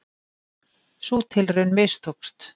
Sú tilraun mistókst